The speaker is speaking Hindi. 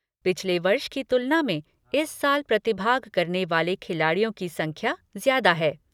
पिछले वर्ष की तुलना में इस साल प्रतिभाग करने वाले खिलाड़ियों की संख्या ज्यादा है।